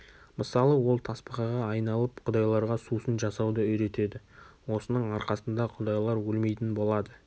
мысалы ол тасбақаға айналып құдайларға сусын жасауды үйретеді осының арқасында құдайлар өлмейтін болады